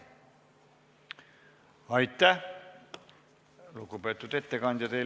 Aitäh, lugupeetud ettekandja!